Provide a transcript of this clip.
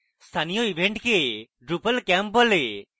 স্থানীয় events drupal camps বলে